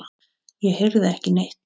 Ég heyrði ekki neitt.